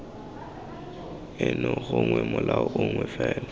eno gongwe molao mongwe fela